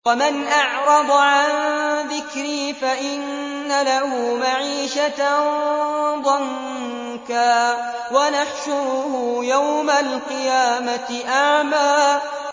وَمَنْ أَعْرَضَ عَن ذِكْرِي فَإِنَّ لَهُ مَعِيشَةً ضَنكًا وَنَحْشُرُهُ يَوْمَ الْقِيَامَةِ أَعْمَىٰ